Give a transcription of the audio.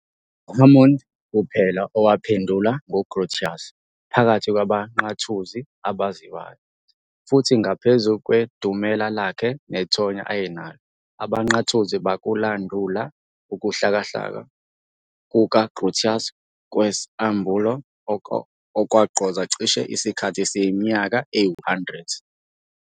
UHammond kuphela owaphendulwa nguGrotius phakathi kwabaNqathuzi abaziwayo, futhi ngaphezu kwedumela lakhe nethonya ayenalo, abaNqathuzi bakulandula ukuhlakahla kukaGrotius kwesAmbulo, okwagqoza cishe isikhathi esiyiminyaka eyi-100.